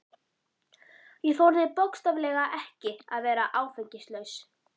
Ég þorði bókstaflega ekki að vera áfengislaus.